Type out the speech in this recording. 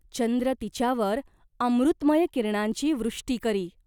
चंद्र तिच्यावर अमृतमय किरणांची वृष्टी करी.